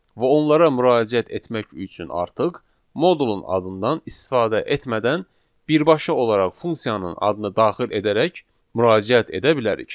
Və onlara müraciət etmək üçün artıq modulun adından istifadə etmədən birbaşa olaraq funksiyanın adını daxil edərək müraciət edə bilərik.